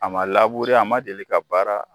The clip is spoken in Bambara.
A ma labure a ma deli ka baara